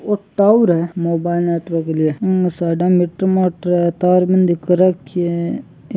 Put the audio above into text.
ओ tower है mobile network के लिए इम साइडा मे टमाटर है तार बंदी कर राखी है।